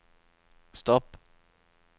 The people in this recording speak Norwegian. stopp